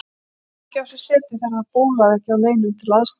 Gat ekki á sér setið þegar það bólaði ekki á neinum til að aðstoða hann.